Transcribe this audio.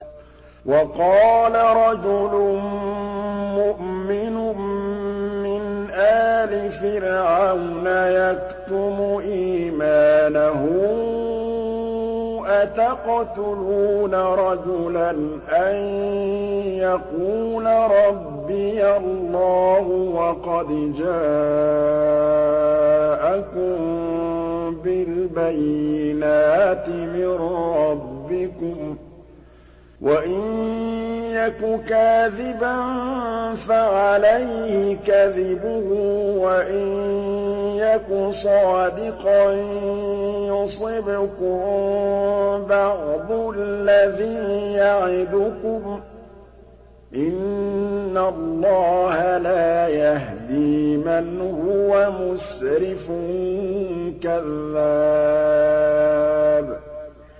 وَقَالَ رَجُلٌ مُّؤْمِنٌ مِّنْ آلِ فِرْعَوْنَ يَكْتُمُ إِيمَانَهُ أَتَقْتُلُونَ رَجُلًا أَن يَقُولَ رَبِّيَ اللَّهُ وَقَدْ جَاءَكُم بِالْبَيِّنَاتِ مِن رَّبِّكُمْ ۖ وَإِن يَكُ كَاذِبًا فَعَلَيْهِ كَذِبُهُ ۖ وَإِن يَكُ صَادِقًا يُصِبْكُم بَعْضُ الَّذِي يَعِدُكُمْ ۖ إِنَّ اللَّهَ لَا يَهْدِي مَنْ هُوَ مُسْرِفٌ كَذَّابٌ